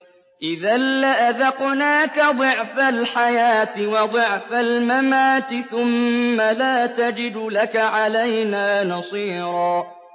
إِذًا لَّأَذَقْنَاكَ ضِعْفَ الْحَيَاةِ وَضِعْفَ الْمَمَاتِ ثُمَّ لَا تَجِدُ لَكَ عَلَيْنَا نَصِيرًا